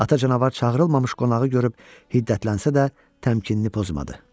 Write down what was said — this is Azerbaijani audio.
Ata canavar çağırılmamış qonağı görüb hiddətlənsə də, təmkinini pozmadı.